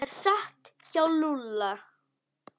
Það er satt hjá Lúlla.